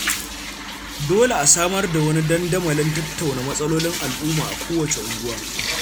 Dole a samar da wani dandamalin tattauna matsalolin al, umma a kowacce unguwa.